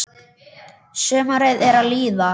Sumarið er að líða.